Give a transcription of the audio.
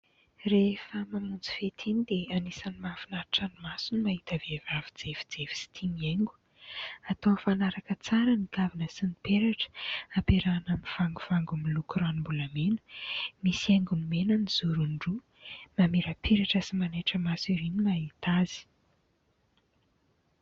Rehefa mamonjy fety iny dia anisany mahafinaritra ny maso ny mahita vehivavy jefijefy sy tia mihaingo. Atao mifanaraka tsara ny kavina sy ny peratra, ampiarahana amin'ny vangovango miloko ranom-bolamena, misy haingony mena ny zorony roa, mamirapiratra sy manaitra maso erỳ ny mahita azy.